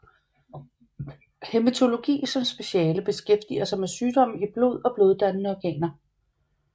Hæmetologi som speciale beskæftiger sig med sygdomme i blod og bloddannende organer